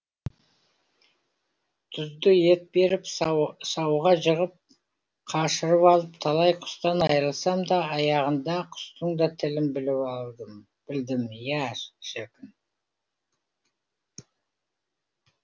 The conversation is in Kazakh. тұзды ет беріп сауға жығып қашырып алып талай құстан айрылсам да аяғында құстың да тілін білдім я шіркін